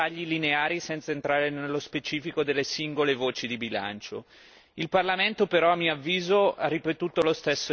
Il Parlamento però a mio avviso ha ripetuto lo stesso errore, ripristinando in blocco le linee andando addirittura oltre in alcuni casi.